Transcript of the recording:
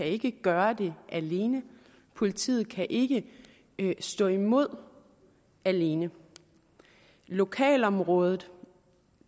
ikke kan gøre det alene politiet kan ikke ikke stå imod alene lokalområdet